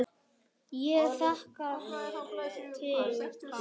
Ég þekkti hann